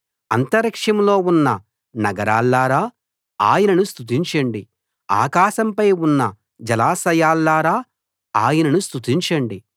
అంతరిక్షంలో ఉన్న నగరాల్లారా ఆయనను స్తుతించండి ఆకాశంపై ఉన్న జలాశయాల్లారా ఆయనను స్తుతించండి